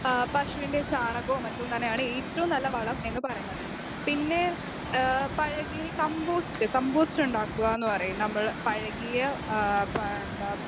speaker 2 ആ പശുവിൻ്റെ ചാണകോം മറ്റും തന്നെയാണ് ഏറ്റവും നല്ല വളം എന്നുപറയുന്നത്.പിന്നേ ആഹ് പഴകിയ കംബോസ്റ്റ് കംബോസ്റ്റ് ഉണ്ടാക്കുകാന്ന് പറയും നമ്മള് പഴകിയ ആഹ് പ എന്താ